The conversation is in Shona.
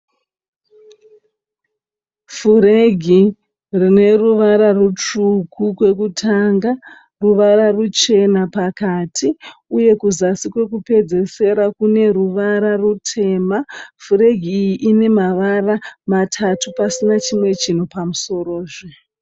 Furegi rine ruvara rutsvuku kwekutanga, ruvara ruchena pakati uye kuzasi kwekupedzesera kune ruvara rutema, furegi iyi ine mavara matatu pasina chimwe chinhu pamusoro zve.